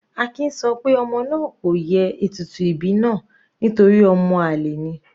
Akin sọ pé ọmọ náà kò ye ètùtù ìbí náà nítorí ọmọ àlè ni.